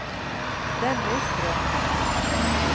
Dennis Bråthen